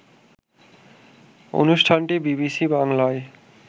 অনুষ্ঠানটি বিবিসি বাংলায়